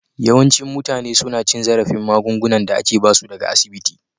Yawancin mutane suna cin zarafin magungunan da ake ba su daga asibiti